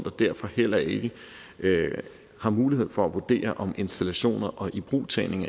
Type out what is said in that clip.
og derfor heller ikke har mulighed for at vurdere om installationer og ibrugtagning